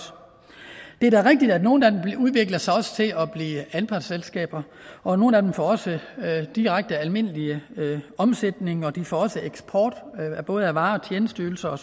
det er da rigtigt at nogle af dem også udvikler sig til at blive anpartsselskaber og nogle af dem får også direkte almindelig omsætning og de får også eksport af både varer og tjenesteydelser